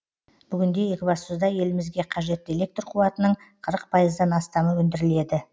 бүгінде екібастұзда елімізге қажетті электр қуатының қырық пайыздан астамы өндіріледі